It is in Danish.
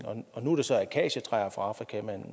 nu er det så akacietræer fra afrika